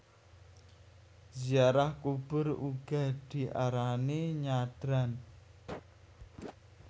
Ziarah kubur uga diarani nyadran